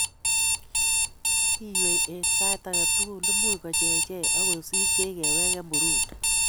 " Kiywei en sait agetugul�imuch kochechech ak kosikyech kewegen Burundi